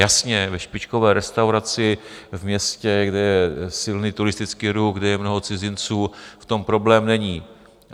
Jasně, ve špičkové restauraci v městě, kde je silný turistický ruch, kde je mnoho cizinců, v tom problém není.